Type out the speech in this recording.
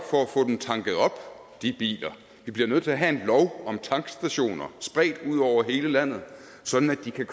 for de biler vi bliver nødt til at have en lov om tankstationer spredt ud over hele landet sådan at de kan